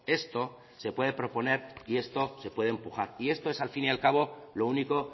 esto se puede proponer y esto se puede empujar y esto es al fin y al cabo lo único